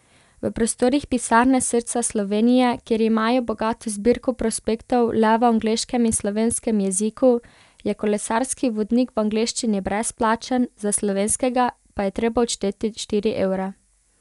V prostorih pisarne Srca Slovenije, kjer imajo bogato zbirko prospektov le v angleškem in slovenskem jeziku, je kolesarski vodnik v angleščini brezplačen, za slovenskega pa je treba odšteti štiri evre.